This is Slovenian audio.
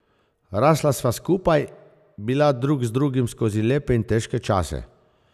Rasla sva skupaj, bila drug z drugim skozi lepe in težke čase.